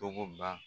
Togo ban